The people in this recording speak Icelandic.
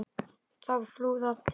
Það flúðu allir.